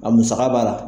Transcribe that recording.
A musaka b'a la